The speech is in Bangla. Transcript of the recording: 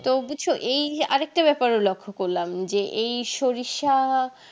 তো বুজছো এই আর একটা ব্যাপারও লক্ষ করলাম যে এই সরিষা